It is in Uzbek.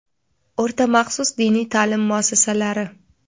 O‘rta maxsus diniy ta’lim muassasalari:.